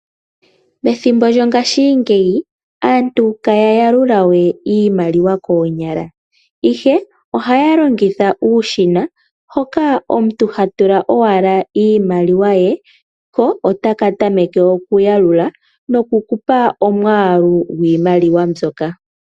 Methimbo lyongadhingeyi aantu ihaya yalulawe iimaliwa konyala ihe ohaya longitha uushina, hoka omuntu hatula owala iimaliwa ye ko otaka tameke okuyalula noku kupa omwalu gwiimaliwa mbyoka.